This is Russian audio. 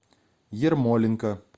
ермоленко